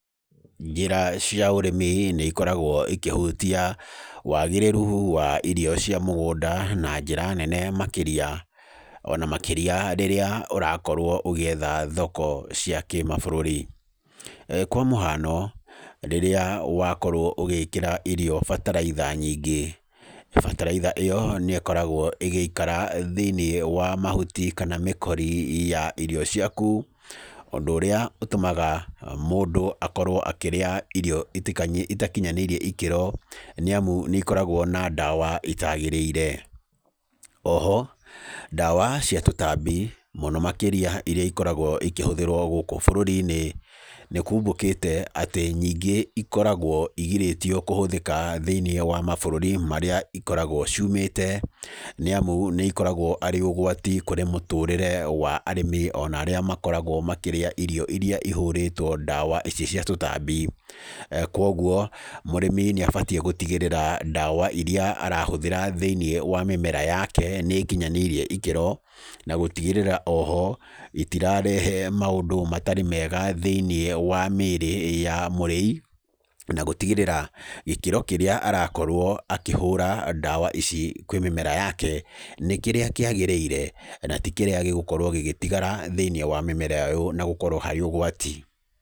Njĩra cia ũrĩmi nĩikoragwo ikĩhutia wagĩrĩru wa irio cia mũgũnda na njĩra nene makĩria, ona makĩria rĩrĩa ũrakorwo ũgĩetha thoko cia kĩmabũrũri. Kwa mũhano, rĩrĩa wakorwo ũgĩkĩra irio bataraitha nyingĩ, bataraitha ĩyo nĩkoragwo ĩgĩikara thĩiniĩ wa mahuti kana mĩkori ya irio ciaku, ũndũ ũrĩa ũtũmaga mũndũ akorwo akĩrĩa irio itikanyi, itakinyanĩirie ikĩro nĩamu nĩikoragwo na ndawa itagĩrĩire. Oho ndawa cia tũtambi mũno makĩria ĩrĩa ĩkoragwo ikĩhũthĩrwo gũkũ bũrũri-inĩ nĩkumbũkĩte atĩ nyingĩ ikoragwo igirĩtio kũhũthĩka thĩiniĩ wa mabũrũri marĩa ikoragwo ciumĩte nĩamu nĩikoragwo arĩ ũgwati kũrĩ mũtũrĩre wa arĩmi ona arĩa makoragwo makĩrĩa irio iria ihũrĩtwo ndawa ici cia tũtambi. Kwogwo mũrĩmi nĩabatiĩ gũtigĩrĩra ndawa iria arahũthĩra thĩiniĩ wa mĩmera yake nĩ ikinyanĩirie ikĩro, na gũtigĩrĩra oho itirarehe maũndũ matarĩ mega thĩiniĩ wa mĩĩrĩ ya mũrĩi na gũtigĩrĩra gĩkĩro kĩrĩa arakorwo akĩhũũra ndawa ici kwĩ mĩmera yake, nĩ kĩrĩa kĩagĩrĩire na ti kĩrĩa gĩgũkorwo gĩgĩtigara thĩiniĩ wa mĩmera ĩyũ na gũkorwo harĩ ũgwati.